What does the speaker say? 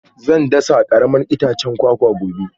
Zan dasa karamar itacen kwakwa gobe